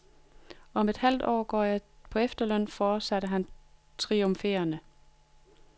Og om et halvt år går jeg på efterløn, fortsatte han triumferende.